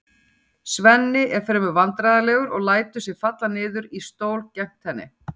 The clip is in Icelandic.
Svenni er fremur vandræðalegur og lætur sig falla niður í stól gegnt henni.